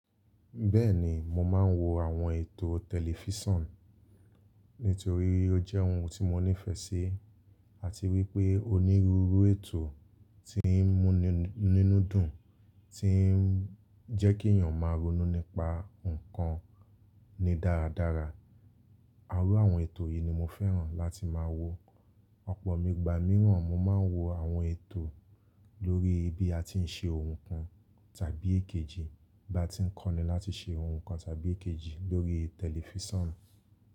Bẹ́ẹ̀ni mo máa ń wo àwọn ètò tẹlifísàn nítorí ó jẹ́ ohun tí mo nífẹ̀ẹ́ sí àti wípé onírúurú ètò tí ń mú ni nínú dùn, tí ń jẹ́ kí èyàn máa ronú nípa ǹkan ni dáradára. À la wọn ètò yìí ni mo fẹ́ràn láti máa wo. Ọ̀pọ̀ igba mìíràn mo máa ń wo àwọn ètò lórí bí a ti ń ṣe ohun kan tàbí èkejì bá ti ń kọ́ni láti ṣe ohun kan tàbí èkejì lórí tẹlifísàn.